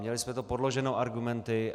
Měli jsme to podloženo argumenty.